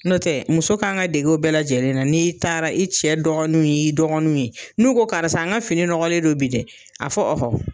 N'o tɛ muso kan ka dege o bɛɛ lajɛlen na n'i taara i cɛ dɔgɔninw y'i dɔgɔninw ye n'u ko karisa n ka fini nɔgɔlen do bi dɛ a fɔ